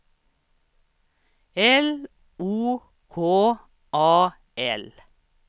L O K A L